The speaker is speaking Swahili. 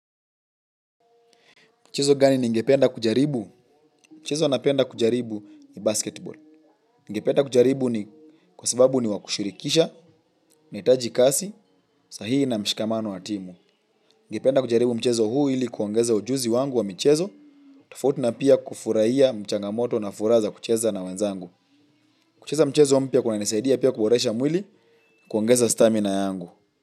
Mchezo gani ningependa kujaribu? Mchezo napenda kujariu ni basketball. Ningependa kujaribu ni kwa sababu ni wa kushirikisha, nahitaji kasi, sahihi na mshikamano wa timu. Ningependa kujaribu mchezo huu ili kuongeza ujuzi wangu wa michezo, tofauti na pia kufurahia changamoto na furaha za kucheza na wenzangu. Kucheza mchezo mpya kunanisaidia pia kuboresha mwili kuongeza stamina yangu.